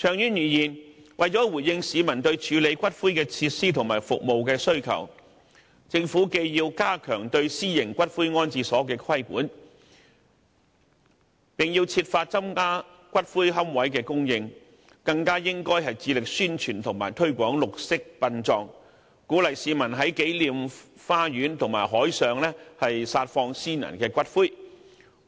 長遠而言，為了回應市民對處理骨灰的設施和服務的需求，政府既要加強對私營骨灰安置所的規管，並要設法增加骨灰龕位的供應，更應致力宣傳和推廣綠色殯葬，鼓勵市民在紀念花園和海上撒放先人的骨灰，